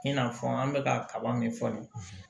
I n'a fɔ an bɛ ka kaba min fɔ nin ye